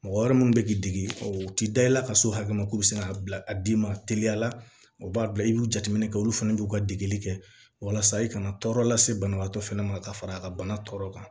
Mɔgɔ wɛrɛ minnu bɛ k'i degi o tɛ da i la ka s'o hakɛ ma k'o bɛ se k'a bila a d'i ma teliya la o b'a bila i b'u jateminɛ kɛ olu fana b'u ka degeli kɛ walasa i kana tɔɔrɔ lase banabaatɔ fɛnɛ ma ka fara a ka bana tɔ kan